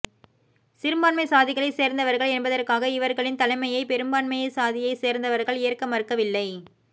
சிறுபான்மைச் சாதிகளைச் சேர்ந்தவர்கள் என்பதற்காக இவர்களின் தலைமையை பெரும்பான்மைச் சாதியைச் சேர்ந்தவர்கள் ஏற்க மறுக்கவில்லை